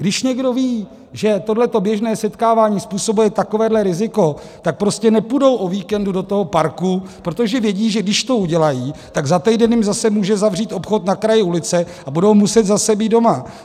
Když někdo ví, že tohle běžné setkávání způsobuje takovéhle riziko, tak prostě nepůjdou o víkendu do toho parku, protože vědí, že když to udělají, tak za týden jim zase může zavřít obchod na kraji ulice a budou muset zase být doma.